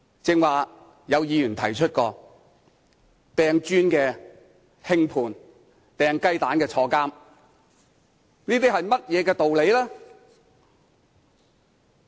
剛才有議員提到，擲磚的人獲輕判，擲雞蛋的人入獄，這些是甚麼道理呢？